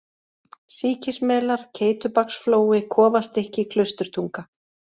Sýkismelar, Keytubaksflói, Kofastykki, Klausturtunga